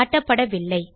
காட்டப்படவில்லை